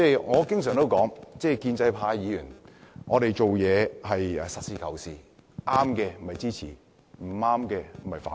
我經常說建制派議員做事是實事求是的，正確的會支持，不對的就會反對。